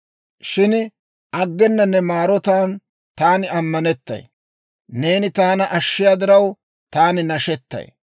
Shin aggena ne maarotaan taani ammanettay; neeni taana ashshiyaa diraw, taani nashettay.